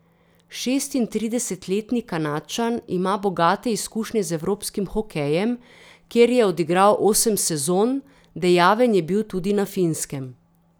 Šestintridesetletni Kanadčan ima bogate izkušnje z evropskim hokejem, kjer je odigral osem sezon, dejaven je bil tudi na Finskem.